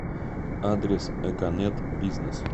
адрес эконет бизнес